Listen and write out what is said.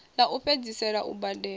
ḽa u fhedzisela u badela